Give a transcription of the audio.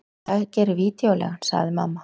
Það gerir vídeóleigan, sagði mamma.